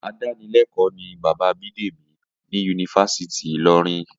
Adánilé̩kò̩ó̩ ni bàbá Bídèmí ní Yunifásítì Ìlo̩rin